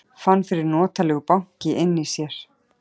Fann fyrir notalegu banki inni í sér.